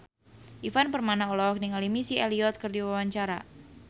Ivan Permana olohok ningali Missy Elliott keur diwawancara